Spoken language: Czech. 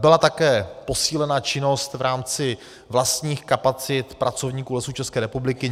Byla také posílena činnost v rámci vlastních kapacit pracovníků Lesů České republiky.